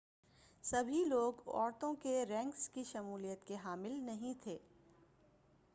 سبھی لوگ عورتوں کے رینکس کی شمولیت کے حامی نہیں تھے